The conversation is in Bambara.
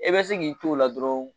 I bɛ se k'i t'o la dɔrɔn